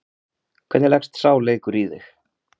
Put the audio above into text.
Hvernig leggst sá leikur í þig?